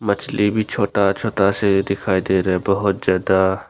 मछली भी छोटा छोटा से दिखाई दे रहा है बहुत ज्यादा।